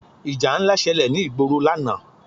Ìjà ńlá ṣẹlẹ̀ ní ìgboro lánàá.